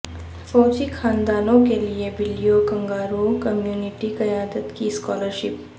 فوجی خاندانوں کے لئے بلیو کنگارو کمیونٹی قیادت کی اسکالرشپ